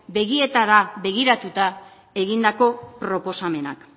begietara begiratuta egindako proposamenak